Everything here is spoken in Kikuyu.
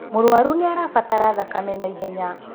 Mũrũrũaru nĩ arabatara thakame na ihenya.